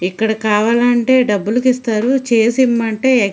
ఇక్కడ కావాలంటే డబ్బులకి ఇస్తారు. చేసి ఇమ్మంటే --